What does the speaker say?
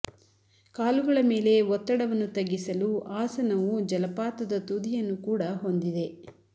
ಕಾಲುಗಳ ಮೇಲೆ ಒತ್ತಡವನ್ನು ತಗ್ಗಿಸಲು ಆಸನವು ಜಲಪಾತದ ತುದಿಯನ್ನು ಕೂಡ ಹೊಂದಿದೆ